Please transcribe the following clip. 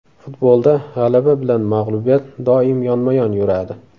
Futbolda g‘alaba bilan mag‘lubiyat doim yonma-yon yuradi.